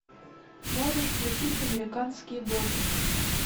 можешь включить американские боги